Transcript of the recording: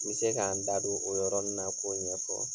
N be se ka n da don o yɔrɔnin na k'o ɲɛfɔ.